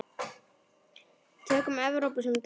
Tökum Evrópu sem dæmi.